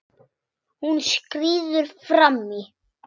Hún skríður fram í.